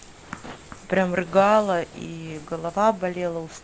прям рыгала и голова болела ооо